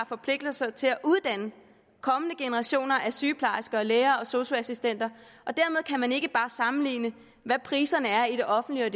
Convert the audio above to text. forpligtelse til at uddanne kommende generationer af sygeplejersker læger og sosu assistenter og man ikke bare sammenligne hvad priserne er i det offentlige og